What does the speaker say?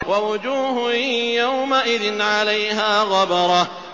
وَوُجُوهٌ يَوْمَئِذٍ عَلَيْهَا غَبَرَةٌ